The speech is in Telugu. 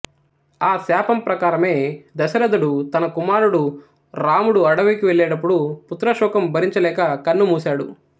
ఆ శాపం ప్రకారమే దశరథుడు తన కుమారుడు రాముడు అడవికి వెళ్ళేటపుడు పుత్రశోకం భరించలేక కన్నుమూశాడు